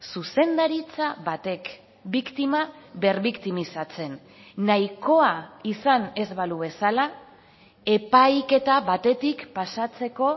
zuzendaritza batek biktima berbiktimizatzen nahikoa izan ez balu bezala epaiketa batetik pasatzeko